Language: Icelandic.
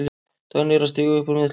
Dagný er að stíga upp úr meiðslum.